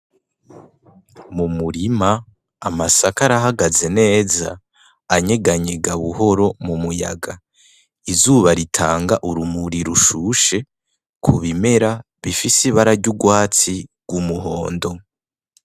Mumurima amasaka arahagaze neza ,anyeganyega buhoro mumuyaga, izuba ritanga urumuri rushushe kubimera bifise ibara ryurwatsi ryumuhondo .